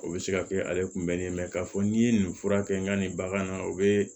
O bɛ se ka kɛ ale kunbɛnni ye k'a fɔ n'i ye nin fura kɛ n ka nin bagan na o bɛ